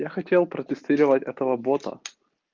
я хотел протестировать этого бота